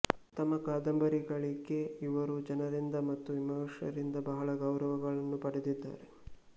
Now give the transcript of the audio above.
ತಮ ಕಾದಂಬರಿಗಳಿಕೆ ಇವರು ಜನರಿಂದ ಮತು ವಿಮರ್ಶಕರಿಂದ ಬಹಳ ಗವ್ರವಗಳನ್ನು ಪಡೆದಿದ್ದಾರೆ